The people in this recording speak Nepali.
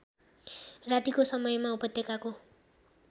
रातिको समयमा उपत्यकाको